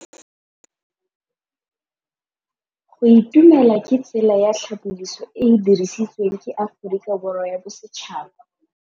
Go itumela ke tsela ya tlhapolisô e e dirisitsweng ke Aforika Borwa ya Bosetšhaba.